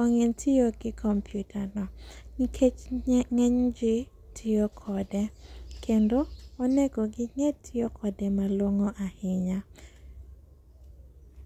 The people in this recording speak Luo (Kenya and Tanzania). ong'e tiyo gi komptyutano, nikech ng'enygi tiyo kode, kendo onego ging'e tiyo kode malong'o ahinya.